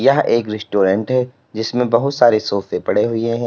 यह एक रेस्टोरेंट है जिसमें बहोत सारे सोफे पड़े हुए हैं।